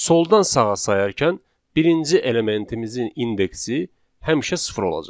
Soldan sağa sayarkən birinci elementimizin indeksi həmişə sıfır olacaq.